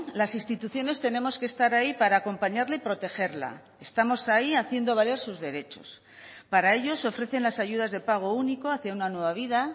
las instituciones tenemos que estar ahí para acompañarle y protegerla estamos ahí haciendo valer sus derechos para ello se ofrecen las ayudas de pago único hacia una nueva vida